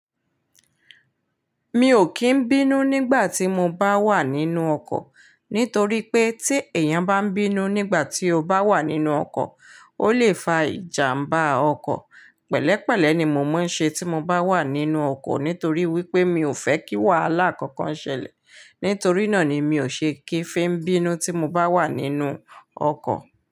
Mi ò kí ń bínú nígbà tí mo bá wà nínú ọkọ̀. Nítorí pé tí èèyàn bá ń bínú nígbà tí ó bá wà nínú ọkọ̀, ó lè fa ìjàmbá ọkọ̀. Pẹ̀lẹ́pẹ̀lẹ́ ni mo máa ń ṣe tí mo bá wà nínú ọkọ̀ nítorí wípé mi ò fẹ́ kí wàhálà kankan ṣẹlẹ̀. Nítorí náà ni mi ò ṣe kí fẹ́ ń bínú tí mo bá wà nínú ọkọ̀